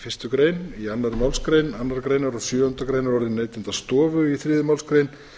fyrstu grein annarri málsgrein annarrar greinar og sjöundu greinar og orðsins neytendastofu í þriðju málsgrein